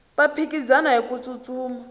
va phikizana hiku tsutsuma